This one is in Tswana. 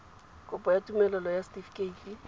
kopo ya tumelelo ya setifikeite